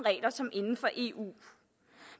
som inden for eu